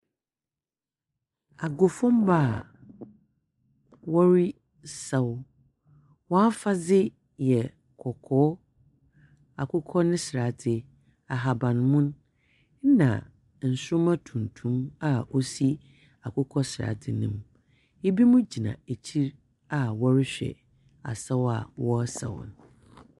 Agofomma a wɔresaw. Wɔn afadze yɛ kɔkɔɔ, akokɔnesradze, ahabamon, na nsroma tuntum a osi akokɔ ne sradze no mu. Ibi mo gyina akyir a wɔrehwɛ asaw a wɔresaw.